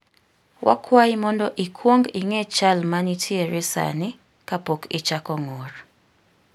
Wakwayi mondo ikwong ing'e chal ma ntiere sani kapok ichako ng'ur.